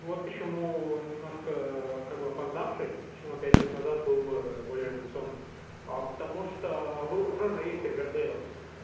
вот почему немножко как бы опоздавший почему пять лет назад был бы более революционным а потому что вы уже есть ривердейл